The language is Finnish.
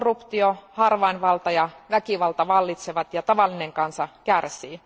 Korruptio, harvainvalta ja väkivalta vallitsevat ja tavallinen kansa kärsii.